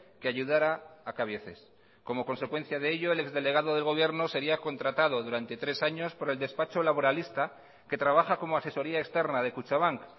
que ayudara a cabieces como consecuencia de ello el ex delegado del gobierno sería contratado durante tres años por el despacho laboralista que trabaja como asesoría externa de kutxabank